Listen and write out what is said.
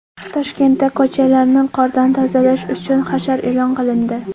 Toshkentda ko‘chalarni qordan tozalash uchun hashar e’lon qilindi.